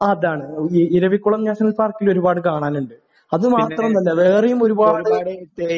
അതാണ്. ഇ ഇരവികുളം നാഷണൽ പാർക്കിൽ ഒരുപാട് കാണാനുണ്ട്. അത് മാത്രമൊന്നുമല്ല. വേറെയും ഒരുപാട്